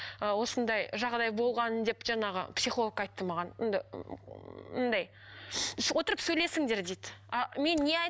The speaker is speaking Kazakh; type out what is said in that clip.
ы осындай жағдай болған деп жаңағы психолог айтты маған отырып сөйлесіңдер дейді